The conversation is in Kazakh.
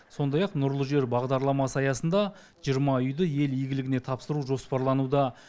сондай ақ нұрлы жер бағдарламасы аясында жиырма үйді ел игілігіне тапсыру жоспарлануда